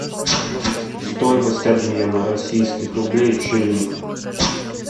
стоимость обмена российских рублей в шиллинг